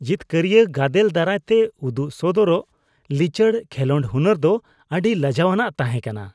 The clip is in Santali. ᱡᱤᱛᱠᱟᱹᱨᱤᱭᱟᱹ ᱜᱟᱫᱮᱞ ᱫᱟᱨᱟᱭᱛᱮ ᱩᱫᱚᱜ ᱥᱚᱫᱚᱨᱟᱜ ᱞᱤᱪᱟᱹᱲ ᱠᱷᱮᱞᱳᱰ ᱦᱩᱱᱟᱹᱨ ᱫᱚ ᱟᱹᱰᱤ ᱞᱟᱡᱟᱣᱟᱱᱟᱜ ᱛᱟᱦᱮᱸ ᱠᱟᱱᱟ ᱾